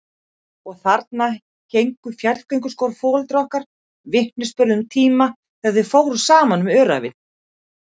Og þarna héngu fjallgönguskór foreldra okkar, vitnisburður um tíma þegar þau fóru saman um öræfin.